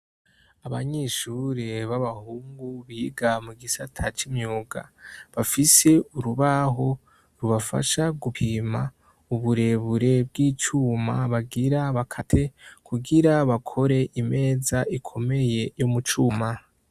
Abanyeshure b'abahungu biga mu gisata c'imyuga bafise urubaho rubafasha gupima uburebure bw'icuma bagira bakate kugira bakore imeza ikomeye yo mucuma.